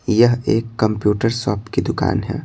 यह एक computer shop की दुकान है।